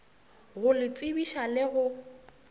go le tsebiša le go